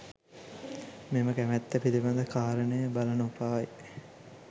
මෙම කැමැත්ත පිළිබඳ කාරණය බල නොපායි